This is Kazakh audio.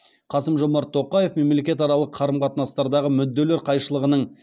қасым жомарт тоқаев мемлекетаралық қарым қатынастардағы мүдделер қайшылығының